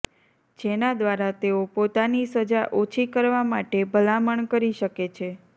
જેના દ્વારા તેઓ પોતાની સજા ઓછી કરવા માટે ભલામણ કરી શકે છે